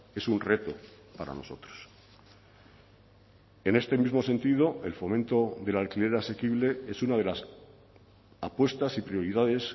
es un reto para nosotros en este mismo sentido el fomento del alquiler asequible es una de las apuestas y prioridades